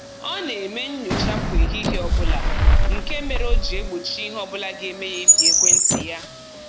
Ọ na-eme nnyocha kwa ehihie ọbụla nke mere o ji egbochi ihe ọbụla ga-eme ya ịpị ekwentị ya